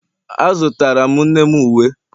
A zụtara m nne m uwe